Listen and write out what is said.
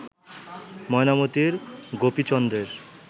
Mainamati গোপীচন্দ্রের